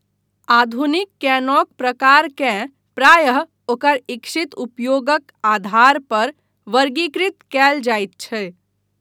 आधुनिक कैनोक प्रकारकेँ प्रायः ओकर इच्छित उपयोगक आधार पर वर्गीकृत कयल जाइत छै।